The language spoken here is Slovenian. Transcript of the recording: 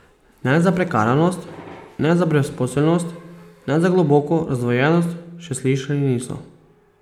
Ne za prekarnost, ne za brezposelnost, ne za globoko razdvojenost še slišali niso.